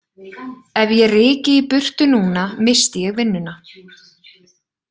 Ef ég ryki í burtu núna missti ég vinnuna.